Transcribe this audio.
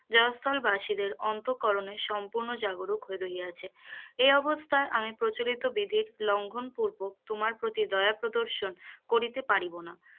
জয়স্থল বাসীদের অন্ত করনে সম্পুর্ণ জাগরুক হইয়াছে, এ অবস্থায় আমি প্রচলিত বিধি লঙ্ঘন করিব তোমার প্রতি দয়া প্রর্দশন করিতে পারিব না,